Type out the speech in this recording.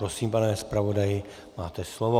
Prosím, pane zpravodaji, máte slovo.